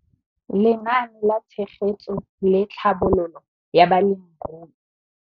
Lenaane la Tshegetso le Tlhabololo ya Balemirui.